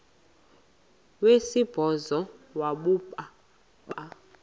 wesibhozo wabhu bha